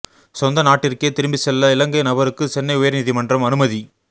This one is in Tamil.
சொந்த நாட்டிற்கே திரும்பிச் செல்ல இலங்கை நபருக்கு சென்னை உயர்நீதிமன்றம் அனுமதி